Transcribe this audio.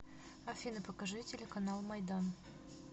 афина покажи телеканал майдан